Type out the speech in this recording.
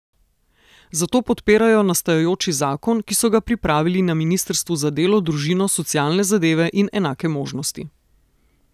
Zato podpirajo nastajajoči zakon, ki so ga pripravili na ministrstvu za delo, družino, socialne zadeve in enake možnosti.